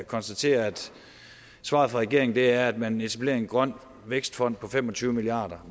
konstatere at svaret fra regeringen er at man etablerer en grøn vækstfond på fem og tyve milliard